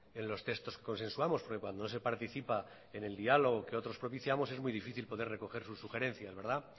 en los textos que consensuamos porque cuando no se participa en el diálogo que otros propiciamos es muy difícil poder recoger sus sugerencias